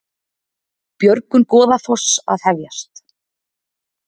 Björgun Goðafoss að hefjast